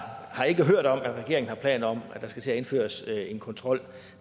har ikke hørt om at regeringen har planer om at der skal til at indføres en kontrol